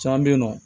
Caman bɛ yen nɔ